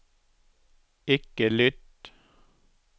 ikke lytt